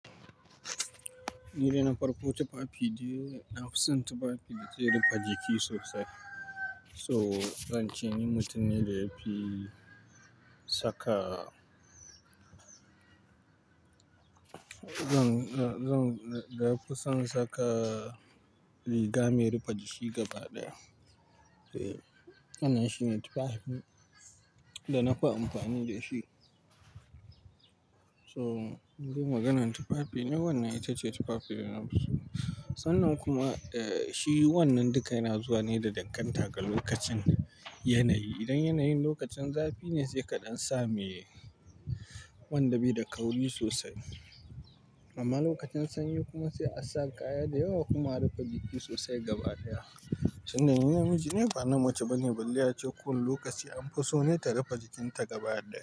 Nidai na farko tufafi dai na fi son tufafi da ke rufe jiki sosai. So zan ce ni mutum ne da ya fi saka zan, zan, da na fi son saka riga mai rufe jiki gaba ɗaya. Eh, wannan shine tufafin da na fi amfani da shi. To, in maganan tufafi ne wannan ita ce tufafi da na fi so. Sannan kuma, eh, shi wannan duka yana zuwa ne da danganta ga lokacin yanayi. Idan yanayin lokacin zafi ne sai kaɗan sa mai wanda bai da kauri sosai. Amma lokacin sanyi kuma sai a sa kaya da yawa kuma a rufe jiki sosai gaba ɗaya. Tunda ni namiji ne ba namace bane? Balle a ce ko wane lokaci an fi so ne ta rufe jikinta gaba ɗaya.